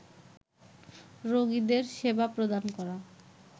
রোগীদের সেবা প্রদান করা